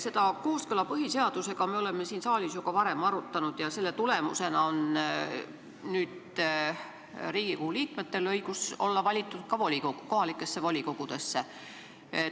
Seda kooskõla põhiseadusega me oleme siin saalis ju ka varem arutanud ja selle tulemusena on nüüd Riigikogu liikmetel õigus olla valitud ka kohalikesse volikogudesse.